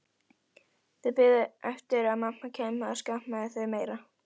Þau biðu eftir að mamma kæmi og skammaði þau meira.